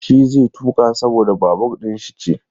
Shi zai tuƙa saboda babur ɗin shi ce.